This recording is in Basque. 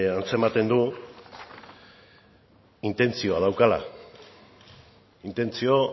atzematen du intentzioa daukala intentzio